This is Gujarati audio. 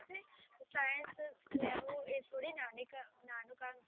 નાનું કામ છે